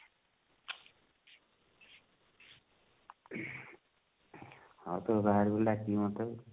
ହଁ ତୋ ବାହାଘର ହେଲେ ଡାକିବୁ ମୋତେ